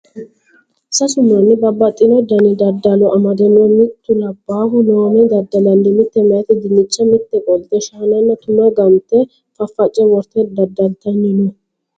Sasu manni babbaxxino dani daddalo amade no mitu labbahu loome daddalanni mite meyati dinicha mite qolte shaananna tuma gante faface worte daddaltanni no.